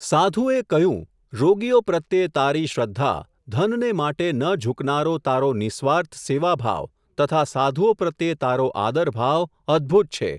સાધુએ કહ્યું, રોગીઓ પ્રત્યે તારી શ્રદ્ધા, ધનને માટે ન ઝૂકનારો તારો નિઃ સ્વાર્થ સેવા ભાવ, તથા સાધુઓ પ્રત્યે તારો આદર ભાવ, અદ્ભુત છે.